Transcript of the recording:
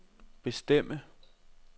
bestemme